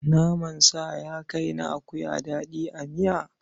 Naman sa ya kai na akuya daɗi a miya?